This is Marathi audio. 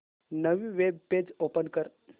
नवीन वेब पेज ओपन कर